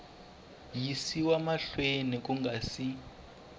yisiwa mahlweni ku nga si